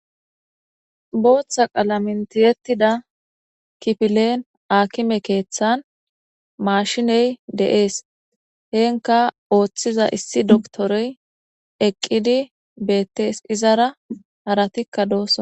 Booththa qalamen thiyeththida kipileen aakime keeththan maashiney de7ees; heenkka ooththiza issi dokthoroy eqqidi beeththees; izara harathikka doosona.